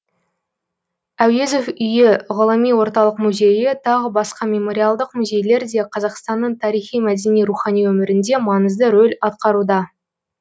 әуезов үйі ғылыми орталық музейі тағы басқа мемориалдық музейлер де қазақстанның тарихи мәдени рухани өмірінде маңызды рөл атқаруда